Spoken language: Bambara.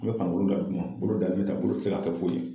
An bɛ farikolo da duguma, bolo dalen ta, bolo tɛ se ka kɛ foyi ye.